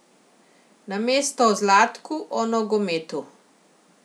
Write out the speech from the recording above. Namesto o Zlatku o nogometu.